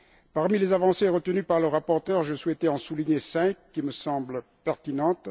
Parmi les avancées retenues par le rapporteur, je souhaitais en souligner cinq qui me semblent pertinentes.